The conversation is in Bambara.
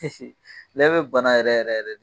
lɛ bɛ bana yɛrɛ yɛrɛ de.